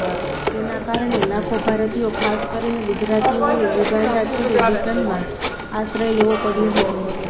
તેના કારણે લાખો ભારતીયો ખાસ કરીને ગુજરાતીઓએ યુગાન્ડા છોડી બ્રિટનમાં આશ્રય લેવો પડયો હતો